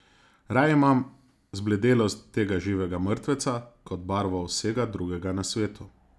Raje imam zbledelost tega živega mrtveca kot barvo vsega drugega na svetu.